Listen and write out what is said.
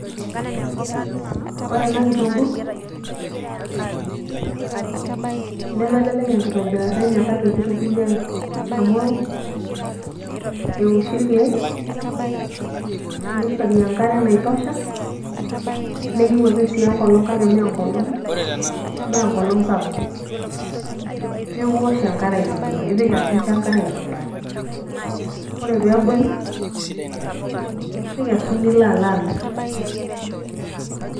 ore ena kitunkuu nemelele enkitobirata enye kake kitobiri ake. amu eoshi irkeek, nishori enkare naitosha. neyieu ake sii enkolong kake mme engolong sapuk. neeku isoh enkare aitobiraki, incho enkare aitobiraki. ore pee ebulu, nikesu nilo alo alo amir.